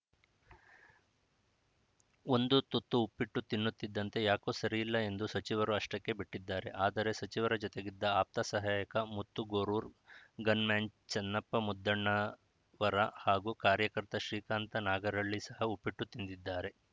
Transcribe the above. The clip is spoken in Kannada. ಒಂದು ತುತ್ತು ಉಪ್ಪಿಟ್ಟು ತಿನ್ನುತ್ತಿದ್ದಂತೆ ಯಾಕೋ ಸರಿಯಿಲ್ಲ ಎಂದು ಸಚಿವರು ಅಷ್ಟಕ್ಕೇ ಬಿಟ್ಟಿದ್ದಾರೆ ಆದರೆ ಸಚಿವರ ಜೊತೆಗಿದ್ದ ಆಪ್ತ ಸಹಾಯಕ ಮುತ್ತು ಗೋರೂರು ಗನ್‌ ಮ್ಯಾನ್‌ ಚನ್ನಪ್ಪ ಮುದ್ದಣ್ಣವರ ಹಾಗೂ ಕಾರ್ಯಕರ್ತ ಶ್ರೀಕಾಂತ ನಾಗರಳ್ಳಿ ಸಹ ಉಪ್ಪಿಟ್ಟು ತಿಂದಿದ್ದಾರೆ